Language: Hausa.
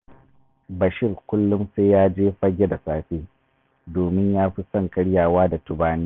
Bashir kullum sai ya je Fagge da safe, domin ya fi son karyawa da tubani